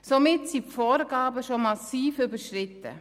Somit wurden die Vorgaben bereits massiv überschritten.